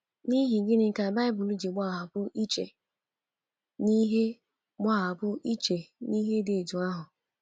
N’ihi gịnị ka baịbụl ji gbapụ iche n’ihe gbapụ iche n’ihe dị otú ahụ?